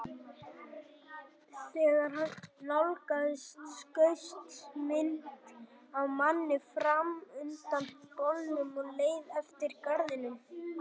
Þegar hann nálgaðist skaust mynd af manni fram undan bolnum og leið eftir garðinum.